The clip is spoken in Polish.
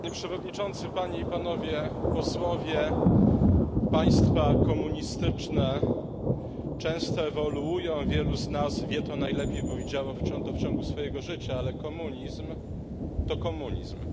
Panie Przewodniczący! Państwa komunistyczne często ewoluują, wielu z nas wie to najlepiej, bo widziało to w ciągu swojego życia, ale komunizm to komunizm